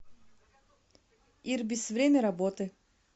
ирбис время работы